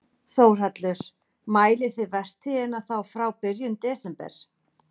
Þórhallur: Mælið þið vertíðina þá frá byrjun desember?